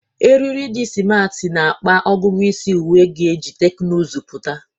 Eriri di simarti na-akpa ọgụgụ isi, uwe ga-eji teknụzụ pụta.